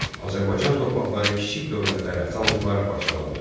Azərbaycan torpaqları kiçik dövlətlərə, xanlıqlara parçalandı.